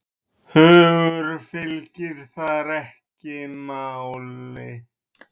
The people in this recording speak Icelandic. Hugur fylgir þar ekki máli.